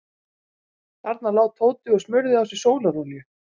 Þarna lá Tóti og smurði á sig sólarolíu.